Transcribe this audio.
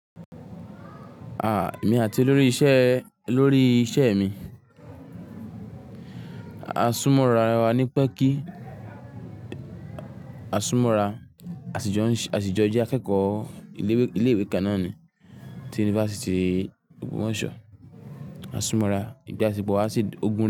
À, èmi àti olórí isẹ olórí isẹ mi. Àsúmọ́ra wa ní pé kí àsúmọ́ra, àsìjọ jẹ́ akẹ́kọ̀ọ́ ilé ìwé kan náà ni ti yunifásítì ògbómòṣó Àsúmọ́ra ìbáṣepọ̀ wá sí gun.